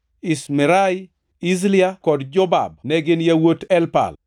Ishmerai, Izlia kod Jobab ne gin yawuot Elpal,